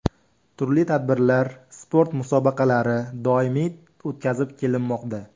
Turli tadbirlar, sport musobaqalari doimiy o‘tkazib kelinmoqda.